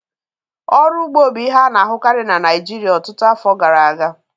Ọrụ ugbo bụ ihe a na-ahụkarị na Naịjirịa ọtụtụ afọ gara aga